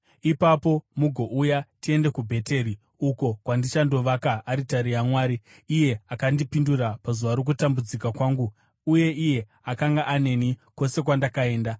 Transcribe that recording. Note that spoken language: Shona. Ipapo mugouya tiende kuBheteri, uko kwandichandovaka aritari yaMwari, iye akandipindura pazuva rokutambudzika kwangu uye iye akanga aneni kwose kwandakaenda.”